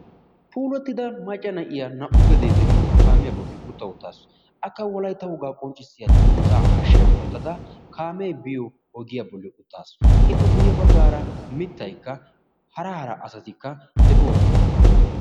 puulatida maca na'iya naa'u gedee de'iyo kaamiya bolli uta uttaasu. akka wolaytta wogaa qonccisiya danguzaa hashiyan wotada kaamee biyo ogiyan utaasu. ippe guye bagaara mitaykka har hara asati de'oosona.